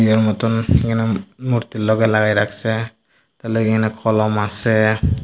এর মতোন এখানে মূর্তির লগে লাগায় রাখসে তার লগে এখানে কলম আসে।